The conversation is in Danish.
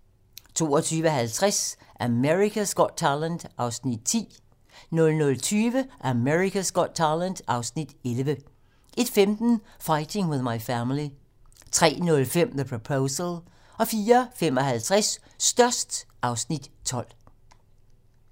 22:50: America's Got Talent (Afs. 10) 00:20: America's Got Talent (Afs. 11) 01:15: Fighting With My Family 03:05: The Proposal 04:55: Størst (Afs. 12)